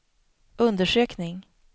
undersökning